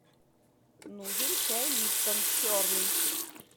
нужен чай липтон черный